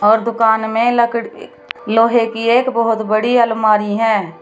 और दुकान में लकड़ी लोहे की एक बहुत बड़ी अलमारी है।